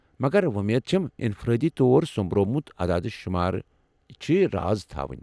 مگر وۄمید چھم انفرٲدی طور سو٘مبروومُت عداد شُمار چھِ یہِ راز تھاوٕنۍ ۔